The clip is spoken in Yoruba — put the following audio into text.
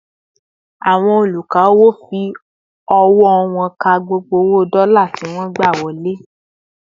Àwọn oluka-owo fi ọwọ wón ká gbogbo owo dola tí wọn gba wọlé